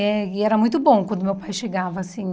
Eh e era muito bom quando meu pai chegava, assim...